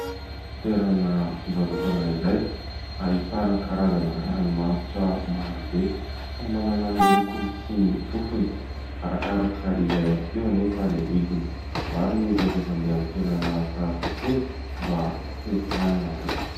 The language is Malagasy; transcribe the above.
Toerana fivarotana iray ahitana karazana ranomanitra maro be, samy manana ny lokony sy ny fofony, arakaraka izay ihany koa anefa ny vidiny. Maro ny olona izay mandeha amin'ny toerana tahaka itony mba te hanana.